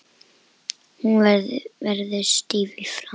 Hún verður stíf í framan.